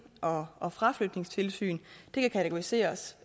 og og fraflytningssyn kategoriseres